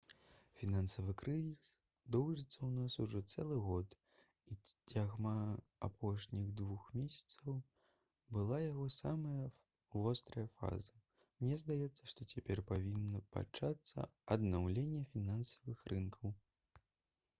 «фінансавы крызіс доўжыцца ў нас ужо цэлы год і цягам апошніх двух месяцаў была яго самая вострая фаза. мне здаецца што цяпер павінна пачацца аднаўленне фінансавых рынкаў»